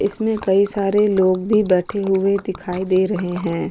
इसमें कई सारे लोग भी बैठे हुए दिखाई दे रहे हैं।